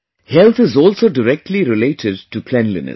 health is also directly related to cleanliness